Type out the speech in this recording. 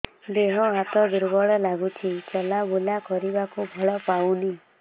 ଦେହ ହାତ ଦୁର୍ବଳ ଲାଗୁଛି ଚଲାବୁଲା କରିବାକୁ ବଳ ପାଉନି